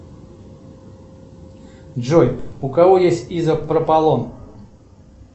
джой у кого есть изопропалон